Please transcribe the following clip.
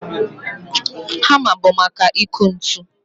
Hamma bụ maka ịkụ ntu